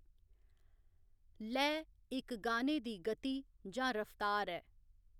लैऽ इक गाने दी गति जां रफ्तार ऐ।